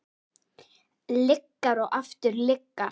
Lygar og aftur lygar.